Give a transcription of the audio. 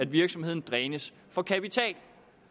virksomheden drænes for kapital